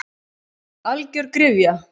Algjör gryfja.